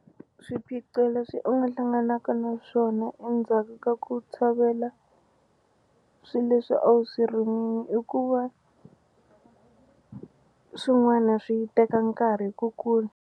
Swiphiqo leswi u nga hlanganaka naswona endzhaku ka ku tshovela swi leswi a wu swi rimini i ku va swin'wana swi teka nkarhi ku kula.